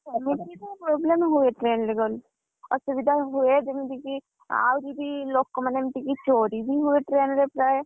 ସମସ୍ତଙ୍କୁ ତ problem ହୁଏ train ରେ ଗଲେ, ଅସୁବିଧା ହୁଏ ଯେମିତିକି, ଆହୁରି ବି ଲୋକମାନେ ଏମିତି କି ଚୋରିବି ହୁଏ train ରେ ପ୍ରାୟ,